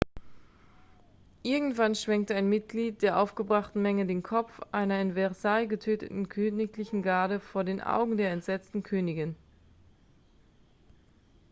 irgendwann schwenkte ein mitglied der aufgebrachten menge den kopf einer in versailles getöteten königlichen garde vor den augen der entsetzten königin